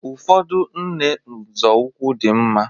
Ụfọdụ nne nzọụkwụ dị mma